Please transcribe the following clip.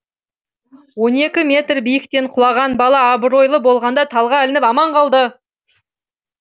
он екі метр биіктен құлаған бала абырой болғанда талға ілініп аман қалды